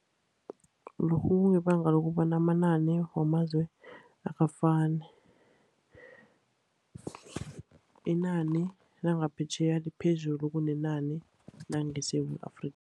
Lokhu kungebanga lokobana amanani wamazwe akafani. Inani langaphetjheya liphezulu kunenani langeSewula Afrika.